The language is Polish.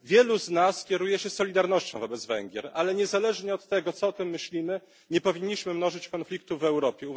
Wielu z nas kieruje się solidarnością wobec Węgier, ale niezależnie od tego, co o tym myślimy, nie powinniśmy mnożyć konfliktów w Europie.